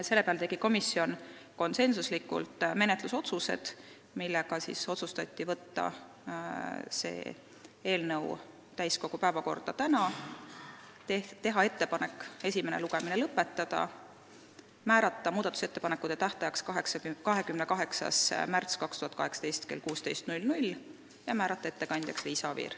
Selle peale tegi komisjon konsensuslikud menetlusotsused: otsustati saata see eelnõu täiskogu päevakorda tänaseks, teha ettepanek esimene lugemine lõpetada ja teha ettepanek määrata muudatusettepanekute esitamise tähtajaks 28. märts 2018 kell 16 ning määrata ettekandjaks Liisa Oviir.